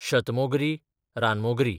शतमोगरीं, रानमोगरीं